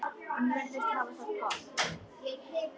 Hann virðist hafa það gott.